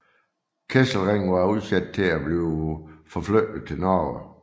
Kesselring var udset til at blive forflyttet til Norge